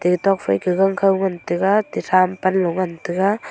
etok fai ke gangkhow ngan taga atte tham panlo ngan taga.